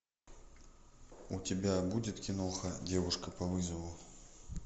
у тебя будет киноха девушка по вызову